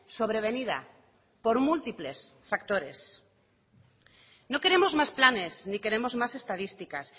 sobrevenida por múltiples factores no queremos más planes ni queremos más estadísticas